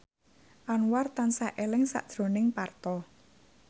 Anwar tansah eling sakjroning Parto